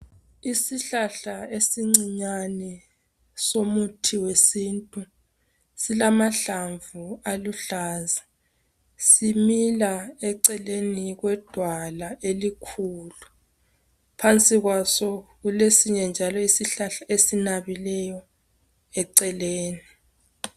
isihlahla esincinyane somuthi wesintu silamahlamvu aluhlaza simila eceleni kwedwala elikhulu phansi kwaso kule sinye njalo isihlahla esinabileyo eceleni